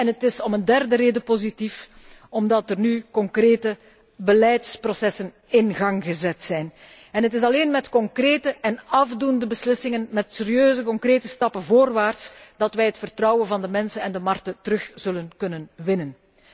Het is om een derde reden positief omdat er nu concrete beleidsprocessen in gang gezet zijn. Het is alleen met concrete en afdoende beslissingen en met serieuze concrete stappen voorwaarts dat wij het vertrouwen van de mensen en de markten zullen kunnen terugwinnen.